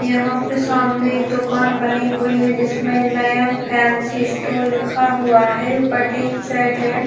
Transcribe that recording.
यहाँ पर सामने एक दुकान बनी हुई है जिसमें नयन फैंसी स्टोर लिखा हुआ है ऊपर टिन सेट है।